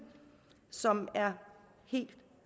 som er helt